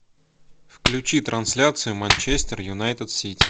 включи трансляцию манчестер юнайтед сити